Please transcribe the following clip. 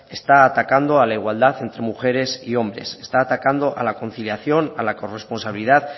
está atacando a la igualdad entre mujeres y hombres está atacando a la conciliación a la corresponsabilidad